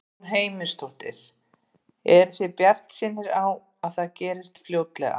Guðrún Heimisdóttir: Eruð þið bjartsýnir á að það gerist fljótlega?